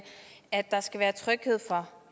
at der skal være tryghed for